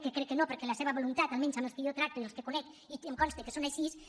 que crec que no perquè la seva voluntat almenys amb els que jo tracto i els que conec i em consta que són així